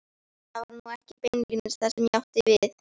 Það var nú ekki beinlínis það sem ég átti við.